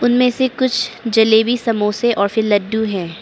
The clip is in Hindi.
में से कुछ जलेबी समोसे और फिर लड्डू है।